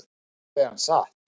Sagði hann satt?